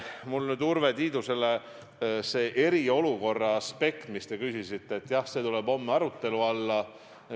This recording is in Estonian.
Mul on Urve Tiidusele veel öelda, et see eriolukorra aspekt, mille kohta te küsisite, jah, see tuleb homme arutelu alla.